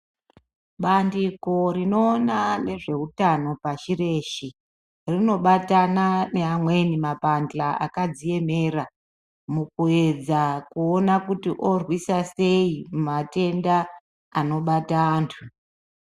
Bandiko rinoona ngezvehutano pashi reshe rinobatana neamweni mapanhla akadziemera mukuedza kuona kuti orwisa sei matenda anobata antu.